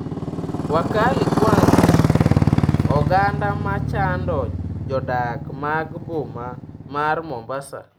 Wakali Kwanza: Oganda ma chando jodak mag boma mar Mombasa